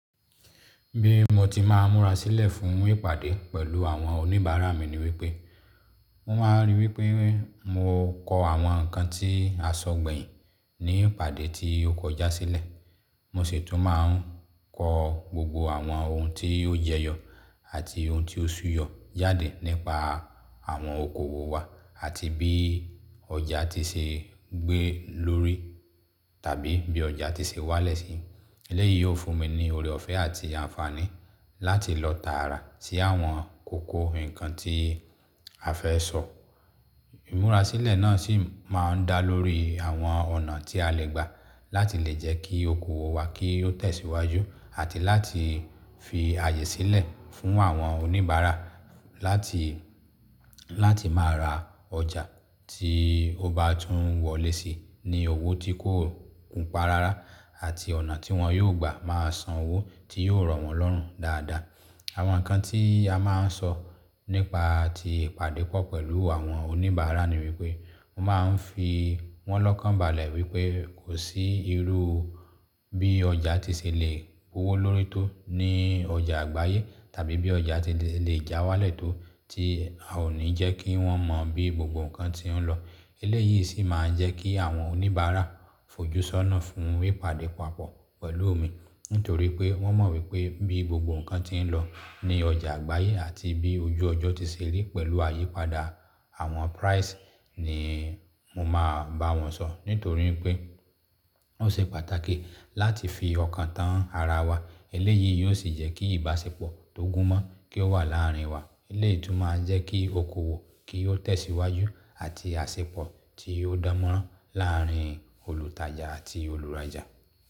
Bí mo ti máa ń múra sílẹ̀ fún ìpàdé pẹ̀lú àwọn oníbàárà mi ni wípé, mo máa ń ríi wípé mo kọ àwọn ǹkan tí a sọ gbẹ̀yìn ní ìpàdé tí ó kọjá sílẹ̀. Mo sì tún máa ń kọ gbogbo àwọn ohun tí ó jẹyọ àti ohun tí ó súyọ jade nípa àwọn okòwò wa àti bí ọjà ti ṣe ń gbé lórí tàbí bí ọjà ti ṣe ń wálẹ̀ sí. Eléyìí yóò fún mi ní ọ̀rẹ́ ọ̀fẹ́ àti àǹfààní láti lọ tààrà sí àwọn kókó ǹkan tí a fẹ́ sọ. Ìmúra sílẹ̀ náà sì máa ń dá lórí àwọn ọ̀nà tí a lè gbà láti lè jẹ́ kí okòwò wa kí ó tẹ̀síwájú àti láti fi àyè sílẹ̀ fún àwọn oníbàárà láti, láti máa ra ọjà tí ó bá tún wọlé sí ní owó tí kò kun pa rárá àti ọ̀nà tí wọ́n yóò gbà máa san owó tí yóò ràn wọ́n lọ́rùn dáadáa. Àwọn ǹkan tí a máa ń sọ nípa ti ìpàdé pọ̀ pẹ̀lú àwọn oníbàárà ni wípé, mo máa ń fi wọ́n lọ́kànbalẹ̀ wípé kò sí irú bí ọjà ti ṣe lè kówó lórí tó ní ọjà àgbáyé tàbí bí ọjà ti lè já wá lẹ́tò tí a ò ní jẹ́ kí wọ́n mọ bí gbogbo ǹkan tí ń lọ. Eléyìí sì máa ń jẹ́ kí àwọn oníbàárà fojúsọ́nà fún ìpàdé papọ̀ pẹ̀lú mi nítorí pé wọ́n mọ̀ wípé bí gbogbo ǹkan tí ń lọ ní ọjà àgbáyé àti bí ojú ọjọ́ ti ṣe rí pẹ̀lú àyípadà àwọn price ni mo máa bá wọn sọ nítorí pé ó ṣe pàtàkì láti fi ọkàn tán ara wa. Eléyìí yóò sì jẹ́ kí ìbáṣepọ̀ tó gún mọ́ran kí ó wà láàárín wa. Eléyìí tún máa ń jẹ́ kí okòwò kí ó tẹ̀síwájú àti àsèpọ̀ tí ó dánmọ́rán láàárín olùtajà àti olùrajà.